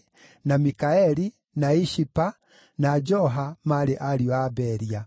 na Mikaeli, na Ishipa, na Joha maarĩ ariũ a Beria.